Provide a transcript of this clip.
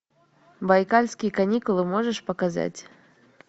байкальские каникулы можешь показать